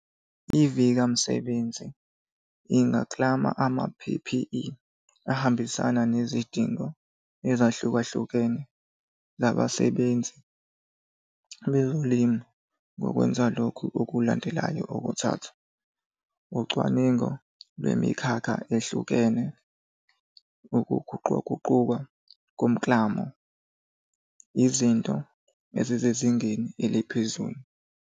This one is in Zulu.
IVika Msebenzi ingaklama ama-P_P_E ahambisana nezidingo ezahlukahlukene zabasebenzi bezolimo ngokwenza lokhu okulandelayo okuthathu, ucwaningo lwemikhakha ehlukene, ukuguquguquka komklamo, izinto ezisezingeni eliphezulu.